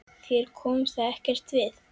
Þér kom það ekkert við!